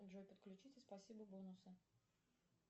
джой подключите спасибо бонусы